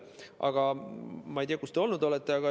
Aga ma ei tea, kus te olnud olete.